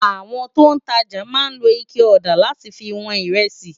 Awòn tó n tàjá má n ló iké òdá làtí fi wòn irèsí